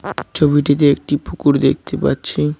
ছবিটিতে একটি পুকুর দেখতে পাচ্ছি।